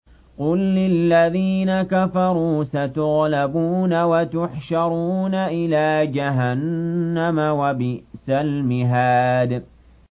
قُل لِّلَّذِينَ كَفَرُوا سَتُغْلَبُونَ وَتُحْشَرُونَ إِلَىٰ جَهَنَّمَ ۚ وَبِئْسَ الْمِهَادُ